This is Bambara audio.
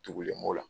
Tugulen b'o la